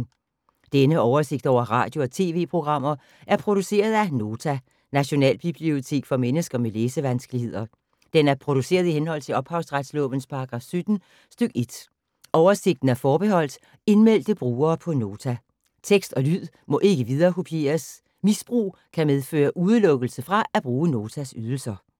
Denne oversigt over radio og TV-programmer er produceret af Nota, Nationalbibliotek for mennesker med læsevanskeligheder. Den er produceret i henhold til ophavsretslovens paragraf 17 stk. 1. Oversigten er forbeholdt indmeldte brugere på Nota. Tekst og lyd må ikke viderekopieres. Misbrug kan medføre udelukkelse fra at bruge Notas ydelser.